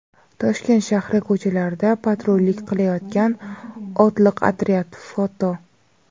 Toshkent shahri ko‘chalarida patrullik qilayotgan otliq otryad (foto).